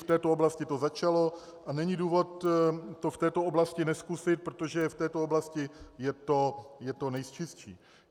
V této oblasti to začalo a není důvod to v této oblasti nezkusit, protože v této oblasti je to nejčistší.